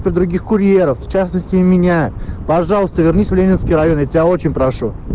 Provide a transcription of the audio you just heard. про других курьеров в частности и меня пожалуйста вернись в ленинский район я тебя очень прошу